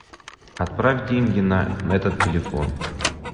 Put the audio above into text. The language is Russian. отправь деньги на этот телефон